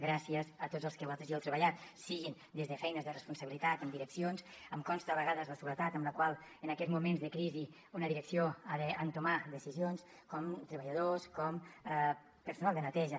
gràcies a tots els que hi heu treballat sigui des de feines de responsabilitat en direccions em consta a vegades la soledat amb la qual en aquests moments de crisi una direcció ha d’entomar decisions com treballadors com el personal de neteja